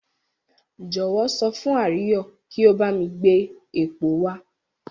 Jọ̀wọ́ sọ fún Àríyọ̀ kí ó bá mi gbé epo wá.